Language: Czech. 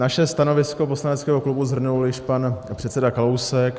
Naše stanovisko poslaneckého klubu shrnul již pan předseda Kalousek.